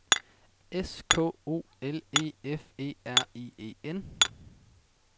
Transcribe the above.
S K O L E F E R I E N